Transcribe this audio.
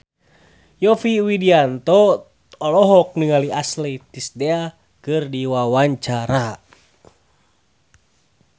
Yovie Widianto olohok ningali Ashley Tisdale keur diwawancara